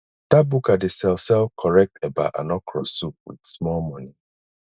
dat buka dey sell sell correct eba and okro soup wit small moni